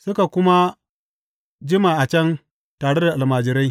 Suka kuma jima a can tare da almajirai.